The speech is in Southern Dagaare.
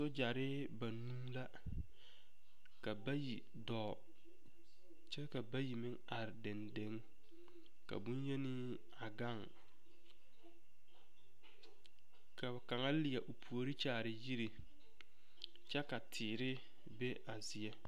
Sogyare banuu la ka bayi dɔɔ kyɛ ka bayi meŋ dɔɔ dendeŋ ka boŋyeni a gaŋ ka kaŋa leɛ o puori kyaare yiri kyɛ ka teere be a zie.